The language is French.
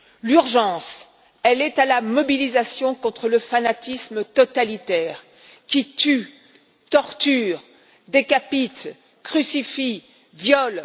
L'urgence est à la mobilisation contre le fanatisme totalitaire qui tue, torture, décapite, crucifie,